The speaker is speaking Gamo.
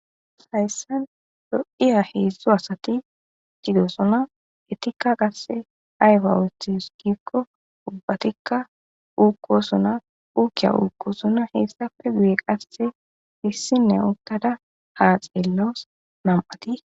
sayssan do7iya heedzdzo asati sidosona etikka qasse ayfa othiskikko ubbatikka uukqosona uukiya uukkosona heessafe guye qasse hissinne uttada ha xeellos nam7ati